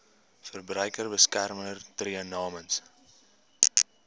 verbruikersbeskermer tree namens